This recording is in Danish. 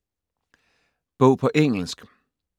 Bog på engelsk